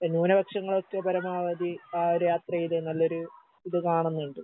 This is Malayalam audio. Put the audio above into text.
എഹ് ന്യൂനപക്ഷങ്ങൾക്ക് പരമാവധി ആ ഒര് യാത്രേല് നല്ലൊരു ഇത് കാണുന്നുണ്ട്.